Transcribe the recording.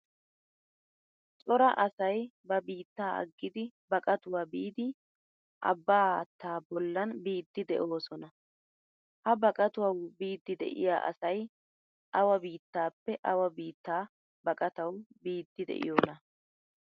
Cora asay ba biittaa aggidi baqatuwaa biidi abbaa haattaa bollan biidi deosona. Ha baqatawu biidi deiyaa asay awa biittaappe awa biitta baaqatawu biidi deiyona?